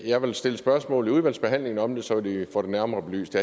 jeg stille spørgsmål i udvalgsbehandlingen om det så vi får det nærmere belyst